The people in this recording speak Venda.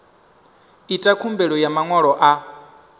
ita khumbelo dza maṅwalo a